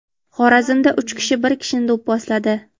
Xorazmda uch kishi bir kishini do‘pposladi.